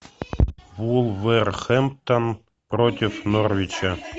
вулверхэмптон против норвича